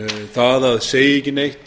það að segja ekki neitt